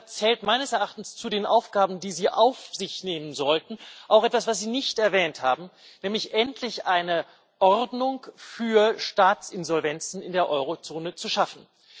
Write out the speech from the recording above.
Deshalb zählt meines Erachtens zu den Aufgaben, die Sie auf sich nehmen sollten, auch etwas, was Sie nicht erwähnt haben, nämlich endlich eine Ordnung für Staatsinsolvenzen in der Eurozone zu schaffen.